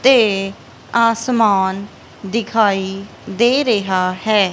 ਤੇ ਅਸਮਾਨ ਦਿਖਾਈ ਦੇ ਰਿਹਾ ਹੈ।